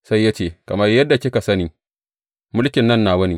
Sai ya ce, Kamar yadda kika sani, mulkin nan nawa ne.